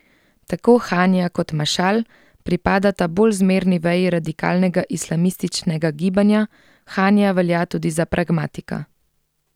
Tako Hanija kot Mašal pripadata bolj zmerni veji radikalnega islamističnega gibanja, Hanija velja tudi za pragmatika.